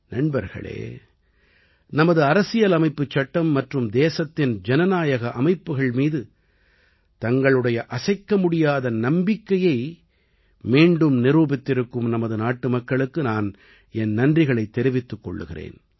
நண்பர்களே நமது அரசியலமைப்புச்சட்டம் மற்றும் தேசத்தின் ஜனநாயக அமைப்புகள் மீது தங்களுடைய அசைக்கமுடியாத நம்பிக்கையை மீண்டும் நிரூபித்திருக்கும் நமது நாட்டுமக்களுக்கு நான் என் நன்றிகளைத் தெரிவித்துக் கொள்கிறேன்